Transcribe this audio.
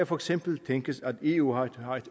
for eksempel tænkes at eu har et